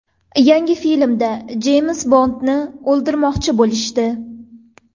Yangi filmda Jeyms Bondni o‘ldirmoqchi bo‘lishdi.